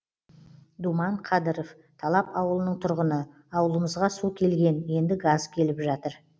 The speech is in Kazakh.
думан қадыров талап ауылының тұрғыны ауылымызға су келген енді газ келіп жатыр